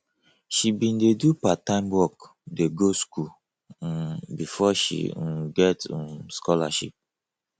she bin dey do parttime work dey go skool um befor she um get um scholarship